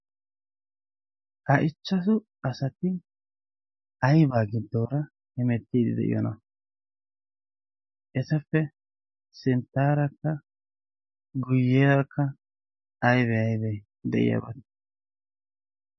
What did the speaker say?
Ha ichchasu asati aybaa giddoora he mettiidi de'iyoona esappe sinttaarakka guyyerakka aibee aybee' de'iyaabaate?